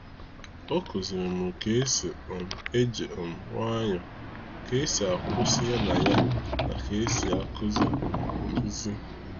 Ọ kuziri mụ ka esi um eji um nwayọ, ka esi akwụsị ya na ya na ka esi akuzi um nkuzi.